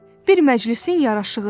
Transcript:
Bir məclisin yaraşığıdır.